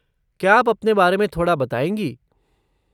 क्या आप अपने बारे में थोड़ा बताएँगी?